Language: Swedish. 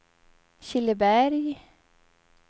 Killeberg